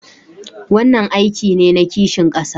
Wannan aiki ne na kishin kasa